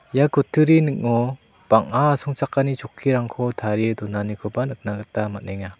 ia kutturi ning·o bang·a asongchakani chokkirangko tarie donanikoba nikna gita man·enga.